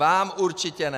Vám určitě ne.